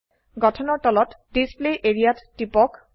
গঠনৰ তলত display area ত টিপক